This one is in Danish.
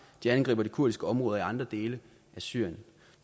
de angriber de kurdiske områder i andre dele af syrien